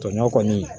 Tɔɲɔ kɔni